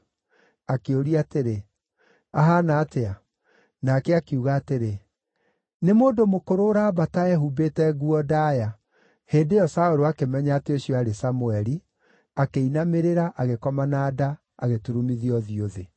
Akĩũria atĩrĩ, “Ahaana atĩa?” Nake akiuga atĩrĩ, “Nĩ mũndũ mũkũrũ ũraambata ehumbĩte nguo ndaaya.” Hĩndĩ ĩyo Saũlũ akĩmenya atĩ ũcio aarĩ Samũeli, akĩinamĩrĩra, agĩkoma na nda, agĩturumithia ũthiũ thĩ.